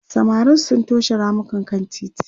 samarin sun toshe ramukan kan titi